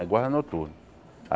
É guarda noturno.